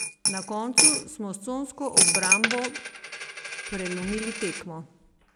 Na koncu smo s consko obrambo prelomili tekmo.